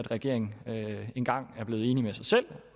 regeringen engang er blevet enig med sig selv